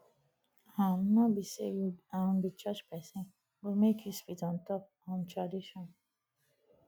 um no be sey you um be church pesin go make you spit on top um tradition